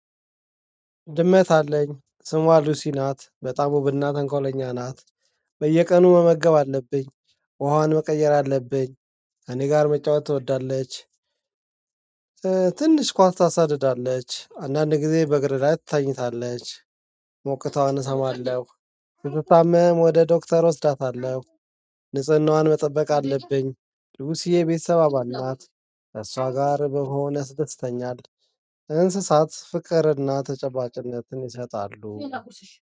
ድመት አለኝ ስሟ ሉሲ ናት በጣም ውብ ና ተንኮለኛ ናት። በየቀኑ መመገብ አለብኝ። ውሃውን መቀየር አለብኝ። እኔ ጋር መጫወት ትወዳለች። ትንሽ ኳስ ታሳድዳለች አንዳንድ ጊዜ በእግር ላይ ትታኝታለች። ሞቅታዋን እሰማለሁ። ስትታመም ወደ ዶክተር እወስዳታለሁ። ንጽህናዋን መጠበቅ አለብኝ ልቡስዬ የቤተሰብ አባል ናት። ከሷ ጋር በሆነ ያስደስተኛል። እንስሳት ፍቅርና ተጨባጭነትን ይሰጣሉ